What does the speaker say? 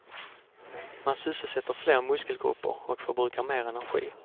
Man sysselsätter fler muskelgrupper och förbrukar mer energi.